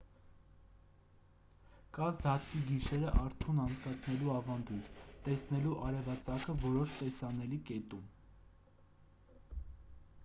կա զատկի գիշերը արթուն անցկացնելու ավանդույթ տեսնելու արևածագը որոշ տեսանելի կետում